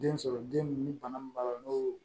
Den sɔrɔ den ni bana min b'a la n'o